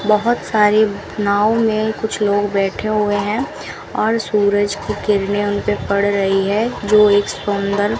बहोत सारी नाव में कुछ लोग बैठे हुए हैं और सूरज की किरणें उनपे पड़ रही है जो एक सुंदर --